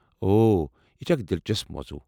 اوہ ۔ یہ چھ اکھ دلچسپ موضوٗع۔